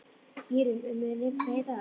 Írunn, mun rigna í dag?